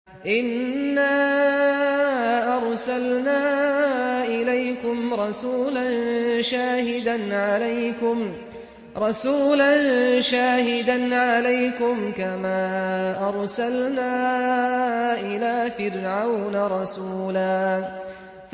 إِنَّا أَرْسَلْنَا إِلَيْكُمْ رَسُولًا شَاهِدًا عَلَيْكُمْ كَمَا أَرْسَلْنَا إِلَىٰ فِرْعَوْنَ رَسُولًا